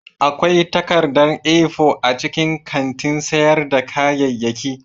Akwai takarda A4 a cikin kantin sayar da kayayyaki